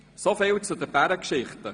Soviel zu den Bärengeschichten.